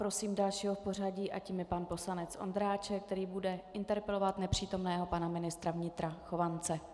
Prosím dalšího v pořadí a tím je pan poslanec Ondráček, který bude interpelovat nepřítomného pana ministra vnitra Chovance.